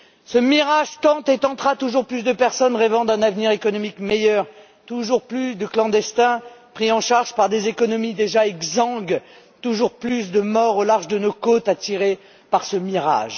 Ce mirage tente et tentera toujours plus de personnes rêvant d'un avenir économique meilleur, toujours plus de clandestins pris en charge par des économies déjà exsangues, toujours plus de morts au large de nos côtes, attirés par ce mirage.